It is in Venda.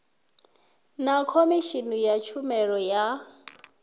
na khomishini ya tshumelo ya